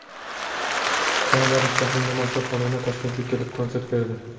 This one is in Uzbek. Kanadalik jahonga mashhur xonanda Toshkentga kelib, konsert berdi.